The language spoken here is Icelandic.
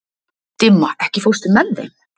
Dimma, ekki fórstu með þeim?